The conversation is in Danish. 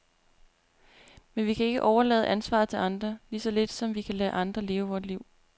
Men vi kan ikke overlade ansvaret til andre, lige så lidt som vi kan lade andre leve vort liv.